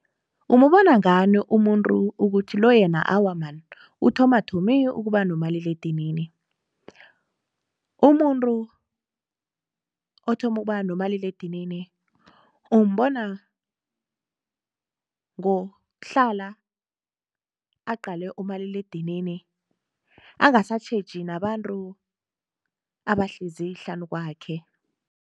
Umubona ngani umuntu ukuthi lo yena awa man, uthoma thomi ukuba nomaliledinini? Umuntu othoma ukuba nomaliledinini umbona ngokuhla aqale umaliledinini angasatjheji nabantu abahlezi hlanu kwakhe.